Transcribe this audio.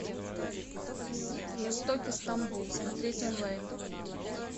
жестокий стамбул смотреть онлайн